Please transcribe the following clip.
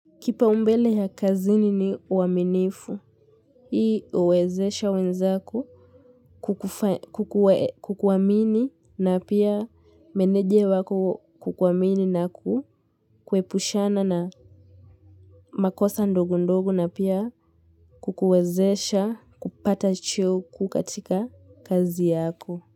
Kipaumbele ya kazini ni uaminifu, hii uwezesha wenzako kukufe kukuwe kukuamini na pia meneje wako kukuamini na ku kuepushana na makosa ndogo ndogo na pia kukuwezesha kupata cheo kuu katika kazi yako.